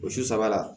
O su sabanan